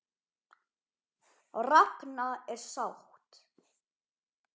Ragna er sátt.